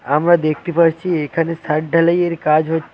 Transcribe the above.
আমরা দেখতে পারছি এখানে সাদ ঢালাইয়ের কাজ হচ--